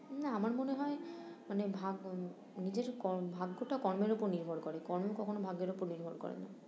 না আমার মনে হয় মানে ভাগ, নিজের কর ভাগ্যটা কর্মের উপর নির্ভর করে কর্ম কখনো ভাগ্যের উপর নির্ভর করে না